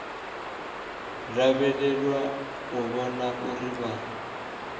lavhelelwa u vhona uri vha